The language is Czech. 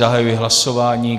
Zahajuji hlasování.